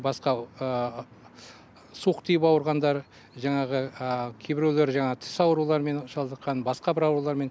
басқа суық тиіп ауырғандар жаңағы кейбіреулер жаңа тіс аурулармен шалдыққан басқа бір аурулармен